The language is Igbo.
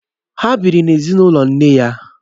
Ha bịịri n'ezinụlọ nne ha.